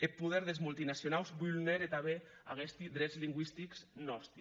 eth poder des multinacionaus vulnère tanben aguesti drets lingüistics nòsti